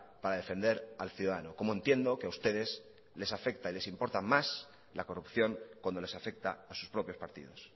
para defender al ciudadano como entiendo que a ustedes les afecta y les importa más la corrupción cuando les afecta a sus propios partidos